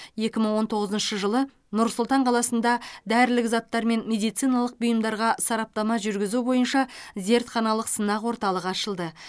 екі мың он тоғызыншы жылы нұр сұлтан қаласында дәрілік заттар мен медициналық бұйымдарға сараптама жүргізу бойынша зертханалық сынақ орталығы ашылды